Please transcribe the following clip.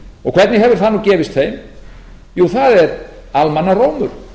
og hvernig hefur það nú gefist þeim jú það er almannarómur